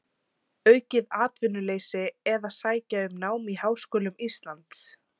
Aukið atvinnuleysi eða sækja um nám í háskólum Íslands?